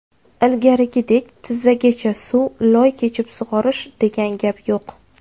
Ilgarigidek, tizzagacha suv, loy kechib sug‘orish, degan gap yo‘q.